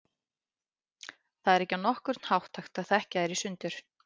Það er ekki á nokkurn hátt hægt að þekkja þær í sundur.